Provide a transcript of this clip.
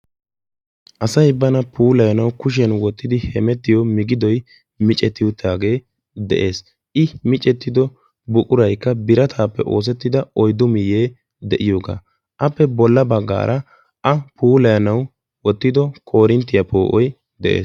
asay bana puulayanau kushiyan wottidi hemettiyo migidoy micetti uttaagee de'ees. I micettido buquraykka birataappe oosettida oyddu miyye de'iyoogaappe bolla baggaara a puulayanau wottido korinttiyaa poo'oy de'ees.